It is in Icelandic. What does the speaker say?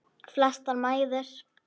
Flestar mæður.